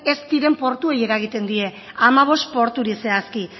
ez diren portuei eragiten die hamabost porturi zehazki